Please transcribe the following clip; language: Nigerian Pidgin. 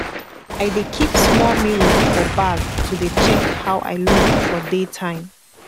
i dey kip smoll mirror for bag to dey check how i look for day time